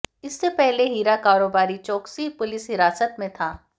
इससे पहले हीरा कारोबारी चोकसी पुलिस हिरासत में था